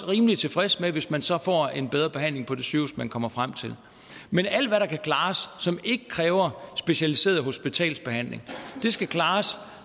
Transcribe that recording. rimelig tilfreds med hvis man så får en bedre behandling på det sygehus man kommer frem til men alt hvad der kan klares som ikke kræver specialiseret hospitalsbehandling skal klares